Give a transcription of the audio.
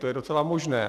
To je docela možné.